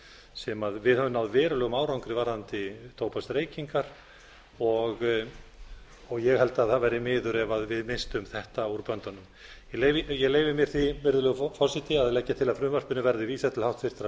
sem við höfum náð verulegum árangri varðandi tóbaksreykingar ég held að það væri miður ef við misstum þetta úr böndunum ég leyfi mér því virðulegur forseti að leggja til að frumvarpinu verði vísað til háttvirtrar